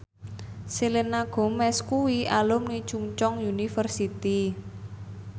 Selena Gomez kuwi alumni Chungceong University